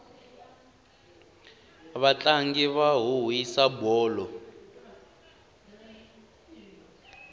vatlangi va huhwisa bolo